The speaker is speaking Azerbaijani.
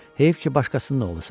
Heyif ki, başqasının oğlusan.